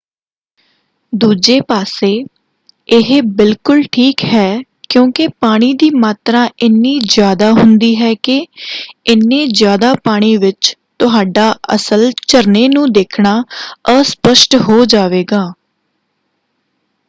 ਦੂਜੇ ਪਾਸੇ ਇਹ ਬਿਲਕੁਲ ਠੀਕ ਹੈ ਕਿਉਂਕਿ ਪਾਣੀ ਦੀ ਮਾਤਰਾ ਇੰਨੀ ਜ਼ਿਆਦਾ ਹੁੰਦੀ ਹੈ ਕਿ—ਏਨੇ ਜ਼ਿਆਦਾ ਪਾਣੀ ਵਿੱਚ ਤੁਹਾਡਾ ਅਸਲ ਝਰਨੇ ਨੂੰ ਦੇਖਣਾ ਅਸਪਸ਼ਟ ਹੋ ਜਾਵੇਗਾ!